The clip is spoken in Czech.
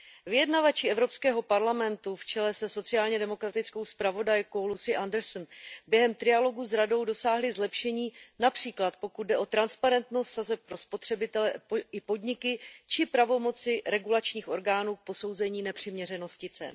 Vyjednavači Evropského parlamentu v čele se sociálně demokratickou zpravodajkou Lucy Andersonovou během trialogu s Radou dosáhli zlepšení, například pokud jde o transparentnost sazeb pro spotřebitele i podniky či pravomoci regulačních orgánů k posouzení nepřiměřenosti cen.